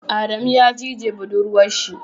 Adamu ya cije buɗurwan shi.